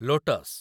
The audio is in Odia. ଲୋଟସ୍